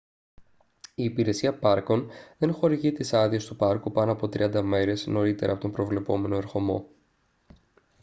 η υπηρεσία πάρκων δεν χορηγεί τις άδειες του πάρκου πάνω από 30 μέρες νωρίτερα από τον προβλεπόμενο ερχομό